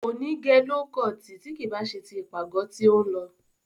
Kò ní gẹ ló kọọ̀tì tí kì í bá ṣe ti ìpàgọ́ tí ó ń lọ.